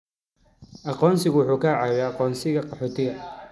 Aqoonsigu wuxuu caawiyaa aqoonsiga qaxootiga.